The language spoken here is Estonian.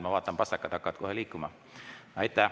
Ma näen, et pastakad hakkavad kohe liikuma.